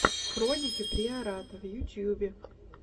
хроники приората в ютубе